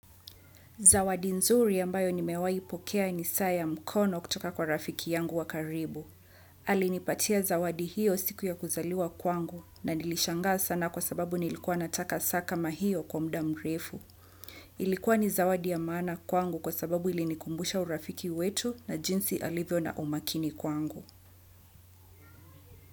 Zawadi nzuri ambayo nimewai pokea ni saa ya mkono kutoka kwa rafiki yangu wa karibu. Alinipatia zawadi hiyo siku ya kuzaliwa kwangu na nilishangaa sana kwa sababu nilikuwa nataka saa kama hiyo kwa mda mrefu. Ilikuwa ni zawadi ya maana kwangu kwa sababu ilinikumbusha urafiki wetu na jinsi alivyo na umakini kwangu.